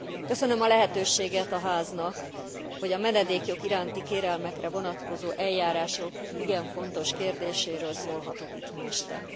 Köszönöm a lehetőséget a Háznak, hogy a menedékjog iránti kérelmekre vonatkozó eljárások igen fontos kérdéséről szólhatok itt ma este.